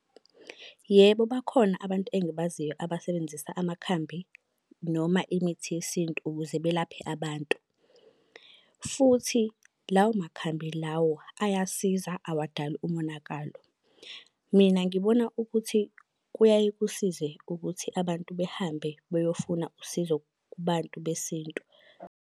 Yebo, bakhona abantu engibaziyo abasebenzisa amakhambi noma imithi yesintu ukuze belaphe abantu. Futhi lawo makhambi lawo ayasiza awadali umonakalo. Mina ngibona ukuthi kuyaye kusize ukuthi abantu behambe beyofuna usizo kubantu besintu.